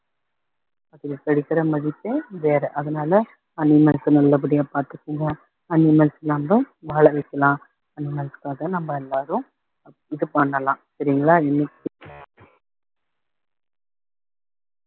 அதுல கிடைக்கிற மதிப்பே வேற அதனால animals அ நல்லபடியா பார்த்துக்கோங்க animals நம்ம வாழ வைக்கலாம் animals காக நம்ம எல்லாரும் இது பண்ணலாம் சரிங்களா இன்னைக்கு